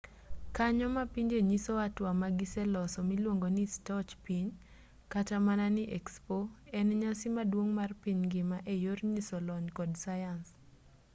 kanyo mapinje nyiso hatua magiseloso miluongo ni stoch piny kata mana ni expo en nyasi maduong' mar piny ngima eyor nyiso lony kod sayans